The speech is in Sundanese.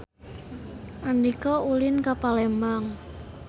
Andika ulin ka Palembang